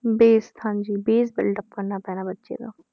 base ਹਾਂਜੀ base buildup ਕਰਨਾ ਪੈਣਾ ਬੱਚੇ ਦਾ,